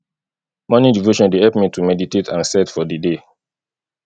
morning devotion dey help me to meditate and set for di day